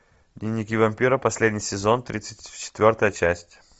дневники вампира последний сезон тридцать четвертая часть